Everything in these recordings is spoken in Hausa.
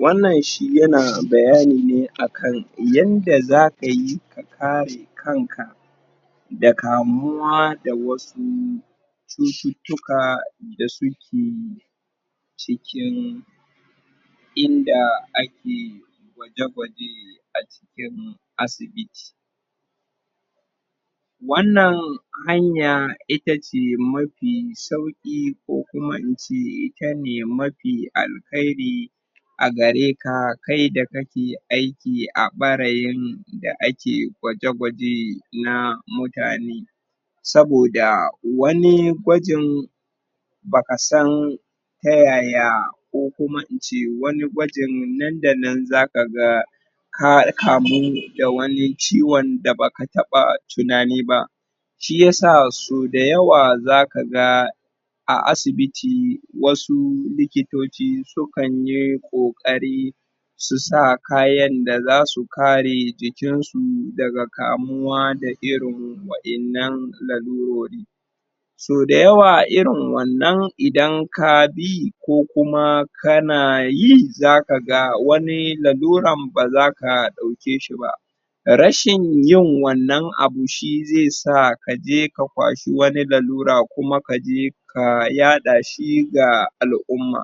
wannan shi ya na bayani ne akan yanda za ka yi ka kare kan ka da kamuwa da wasu cucutuka da su ke cikin in da ake gwaje gwaje a cikin asibiti wannan hanya ita ce mafi sauki ko kuma in ce ita ne mafi alheri a gare ka kai da kake aiki a bareyin da akegwaje gwaje na mutane soboda wani gwajin ba ka san ta yaya ko kuma in ce wani gwajin nan da nan za ka ga ka kamu da wani ciwon da ba ka taba tunani ba shi ya sa so da yawa za ka ga a asibiti wasu likitoci su kan yi kokari su sa kayan da zasu kare jikin su daga kamuwa daga irin wayannan lalurori so da yawa irin wannan idan ka bi ko kuma ka na yi za ka ga wani laluran ba za ka dauke shi ba rashin yin wannan abu shi zai sa ka je ka kwashi wani lalura kuma kaje ka yada shi ga al'uma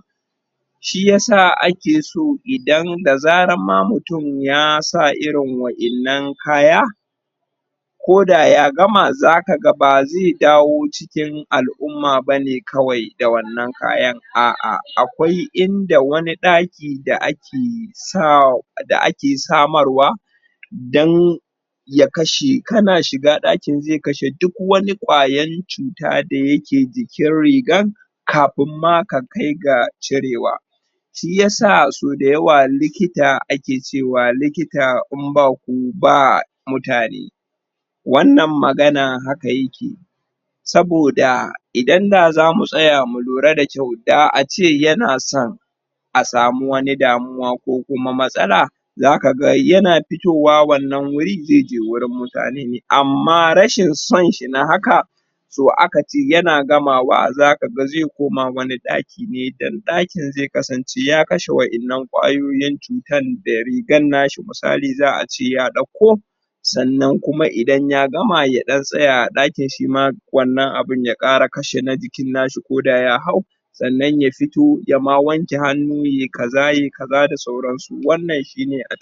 shi ya sa idan ake so idan da zara ma mutum ya sa irin wayanna kaya ko da ya gama za ka ga ba zai dawo cikin al'uma ba ne kawai da wannan kayan a'a akwai inda wani daki da ake samar wa dan ya kashe ka na shiga dakin zai kashe duk wani kwayan cutan da ya ke jikin riga kafin ma ka kai ga cirewa shi ya sa so da yawa likita ake cewa likita in ba ku ba mutane wannan magana haka yake soboda idan da za mu tsaya mu lura da kyau da a ce ya na son a samu wani damuwa ko kuma matsala za ka ga yana fitowa wannan wur zai je wurin mutane amma rashin son shi nahaka so aka ce yana gamawa zaka ga zai koma wani daki nedan dakin zai kasance ya kashe wyannan kwayoyi cutan da rigan na shi toh misali za'a ce ya dauko sannan kuma idan ya gama ya dan tsaya a dakin shi ma wannan abun y kara kashe jikin na shi ko da ya hau sannan ya fito ya ma wanke hannu ya yi kaza ya yi kaza da sauran su wannan shi ne